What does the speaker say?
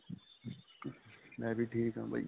ਮੈਂ ਵੀ ਠੀਕ ਹਾਂ ਬਾਈ .